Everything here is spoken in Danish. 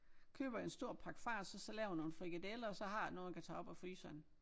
Køber jeg en stor pakke fars og så laver jeg nogle frikadeller og så har jeg noget jeg kan tage op af fryseren